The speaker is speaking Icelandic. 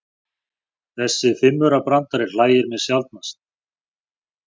Þessi fimmaurabrandari hlægir mig sjaldnast.